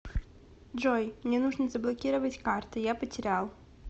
джой мне нужно заблокировать карты я потерял